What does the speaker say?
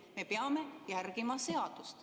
Me peame järgima seadust.